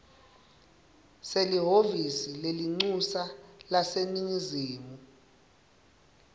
selihhovisi lelincusa laseningizimu